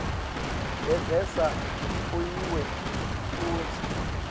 levela kuwe futsi